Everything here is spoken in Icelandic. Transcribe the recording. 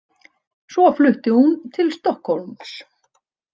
Svo flutti hún til Stokkhólms.